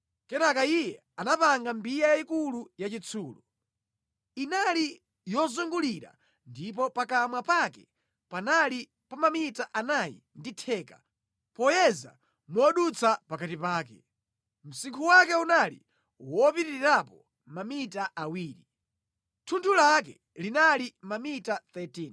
Kenaka iye anapanga mbiya yayikulu yachitsulo. Inali yozungulira ndipo pakamwa pake panali pa mamita anayi ndi theka, poyeza modutsa pakati pake. Msinkhu wake unali wopitirirapo mamita awiri. Thunthu lake linali mamita 13.